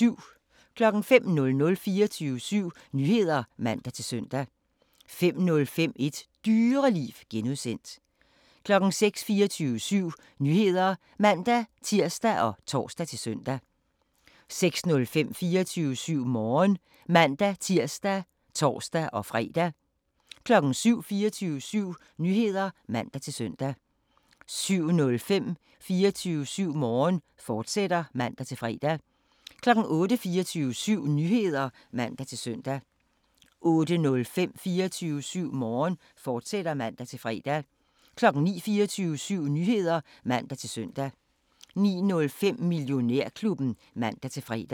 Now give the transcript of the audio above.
05:00: 24syv Nyheder (man-søn) 05:05: Et Dyreliv (G) 06:00: 24syv Nyheder (man-tir og tor-søn) 06:05: 24syv Morgen (man-tir og tor-fre) 07:00: 24syv Nyheder (man-søn) 07:05: 24syv Morgen, fortsat (man-fre) 08:00: 24syv Nyheder (man-søn) 08:05: 24syv Morgen, fortsat (man-fre) 09:00: 24syv Nyheder (man-søn) 09:05: Millionærklubben (man-fre)